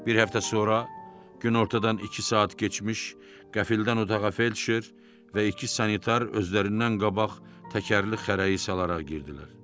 Bir həftə sonra günortadan iki saat keçmiş qəfildən otağa Felçer və iki sanitar özlərindən qabaq təkərli xərəyi salaraq girdilər.